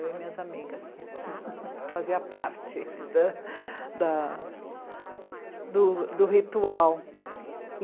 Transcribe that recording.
Eu e minhas amigas fazíamos parte do, do ritual.